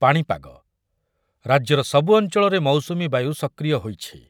ପାଣିପାଗ, ରାଜ୍ୟର ସବୁ ଅଞ୍ଚଳରେ ମୌସୁମୀ ବାୟୁ ସକ୍ରିୟ ହୋଇଛି ।